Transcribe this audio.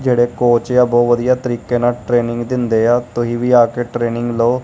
ਜੇਹੜੇ ਕੋਚ ਆ ਬੋਹੁਤ ਵਧੀਆ ਤਰੀਕੇ ਨਾਲ ਟ੍ਰੇਨਿੰਗ ਦਿੰਦੇ ਆ ਤੁਸੀ ਵੀ ਆ ਕੇ ਟ੍ਰੇਨਿੰਗ ਲਓ।